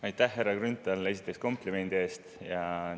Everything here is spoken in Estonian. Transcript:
Aitäh, härra Grünthal, esiteks komplimendi eest!